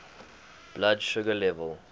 blood sugar level